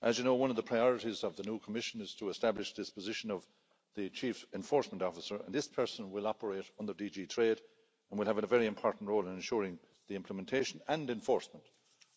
As you know, one of the priorities of the new Commission is to establish this position of the Chief Enforcement Officer and this person will operate under DG TRADE and will have a very important role in ensuring the implementation and enforcement